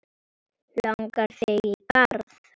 Langar þig í garð?